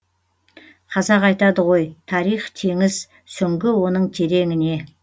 қазақ айтады ғой тарих теңіз сүңгі оның тереңіне